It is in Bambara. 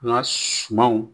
An ka sumanw